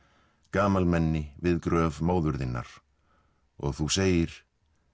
gamlamenni við gröf móður þinnar og þú segir